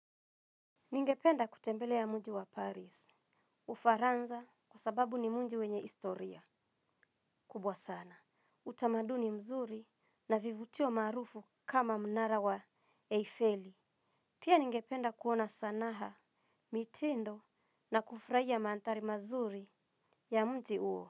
Ningependa kutembelea ya mji wa Paris. Ufaransa kwa sababu ni mji wenye historia kubwa sana. Utamaduni mzuri na vivutio maarufu kama mnara wa Eiffel. Pia ningependa kuona sanaa, mtindo na kufurahia mandhari mazuri ya mji huo.